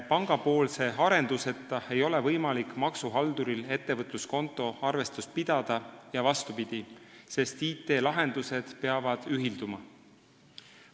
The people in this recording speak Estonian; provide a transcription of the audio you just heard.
Pangapoolse arenduseta ei ole maksuhalduril võimalik ettevõtluskonto arvestust pidada ja vastupidi, sest IT-lahendused peavad ühilduma.